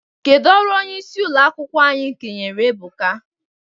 Kedụ ọrụ onyeisi ụlọ akwụkwọ anyị kenyere Ebuka?